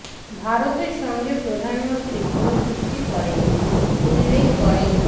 ভারতের সঙ্গে প্রধানমন্ত্রী কোনো চুক্তি করেননি উল্লেখ করে ড